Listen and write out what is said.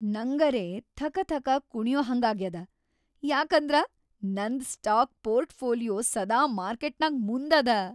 ನಂಗರೇ ಥಕಥಕ ಕುಣಿಯಹಂಗಾಗ್ಯಾದ ಯಾಕಂದ್ರ ನಂದ್ ಸ್ಟಾಕ್ ಪೋರ್ಟ್‌ಫೋಲಿಯೋ ಸದಾ ಮಾರ್ಕೆಟ್‌ನಾಗ್ ಮುಂದದ.